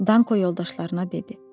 Danko yoldaşlarına dedi.